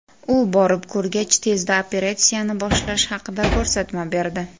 U borib ko‘rgach, tezda operatsiyani boshlash haqida ko‘rsatma berdi.